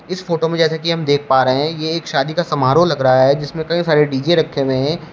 इस फोटो में जैसे कि हम देख पा रहे हैं ये एक शादी का समारोह लग रहा है जिसमें कई सारे डी_जे रखे हुए हैं।